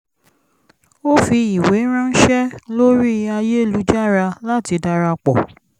ó fi ìwé ránṣé lórí ayélujára láti darapọ̀